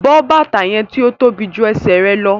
Bọ bátà yẹn ti o tóbi jù ẹ̀sẹ̀ rẹ lọ̀!